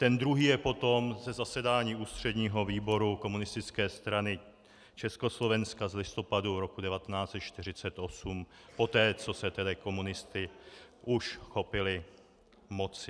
Ten druhý je potom ze zasedání ústředního výboru Komunistické strany Československa z listopadu roku 1948 poté, co se tedy komunisté už chopili moci.